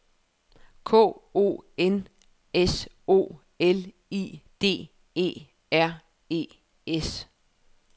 K O N S O L I D E R E S